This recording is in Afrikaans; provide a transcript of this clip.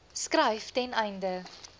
skryf ten einde